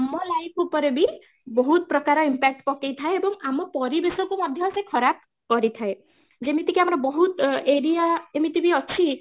ଆମ life ଉପରେ ବି ବହୁତ ପ୍ରକାର impact ପକେଇ ଥାଏ ଏବଂ ଆମ ପରିବେଶକୁ ମଧ୍ୟ ସେ ଖରାପ କରି ଥାଏ ଯେମିତି କି ଆମର ବହୁତ area ଏମିତି ବି ଅଛି